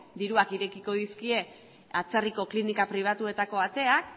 diruak irekiko dizkie atzerriko klinika pribatuetako ateak